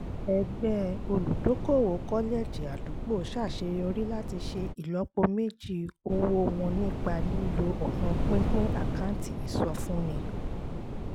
ẹgbẹ́ olùdókòwò kọ́lẹ́ẹ̀jì àdúgbò ṣàṣeyọrí láti ṣe ìlọ́po méjì owó wọn nípa lílo ọ̀nà pínpín àkáǹtì ìsọfúnni